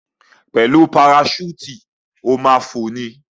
Pẹ̀lú paraṣúùtì, o ma ma fò ni.